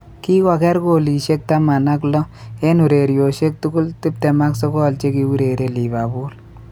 Kigoger golishek tamam ak lo, eng' ureryoshek tugul 29 che ki ureree liverpool